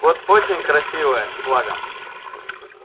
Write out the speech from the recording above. вот очень красивая с флагом